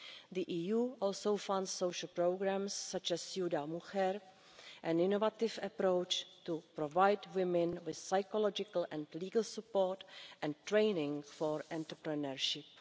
The EU also funds social programmes such as Ciudad Mujer' an innovative approach to provide women with psychological and legal support and training for entrepreneurship.